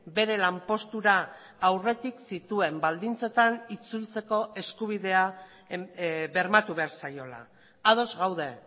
bere lanpostura aurretik zituen baldintzetan itzultzeko eskubidea bermatu behar zaiola ados gaude